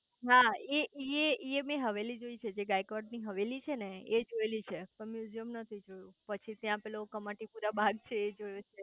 હા હા એ એ એ મેં હવેલી જોયેલી છે જે ગાયકવાડ ની હવેલી છે ને એ જોયેલી છે પણ મ્યુઝીયમ નથી જોયું પછી ત્યાં પેલો કમાટી પુરા બાગ છે એ જોયો છે